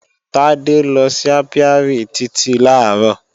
Tádé lọ sí ápíárì Títí làárọ̀